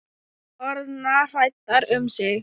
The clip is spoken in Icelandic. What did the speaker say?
Orðnar hræddar um mig.